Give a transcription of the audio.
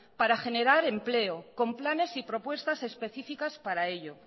para generar empleo con planes y propuestas específicas para ello